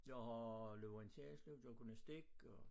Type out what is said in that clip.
Jeg har løbet orienteringsløb lavet gymnastik og